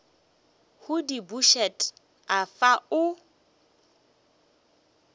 go di bušet afa o